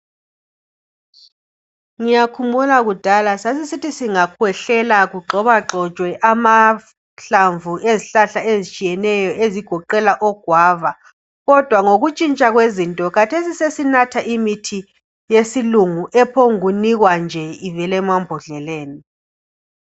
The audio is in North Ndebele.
Ngiyakhumbula kudala sasisithi singakhwehlela kugxoba gxotshwe amahlamvu ezihlahla ezitshiyeneyo ezigoqela ogwava kodwa ngokutshintsha kwezinto khathesi sesinatha imithi yesilungu ephongunikwa nje ivele mambodleleni.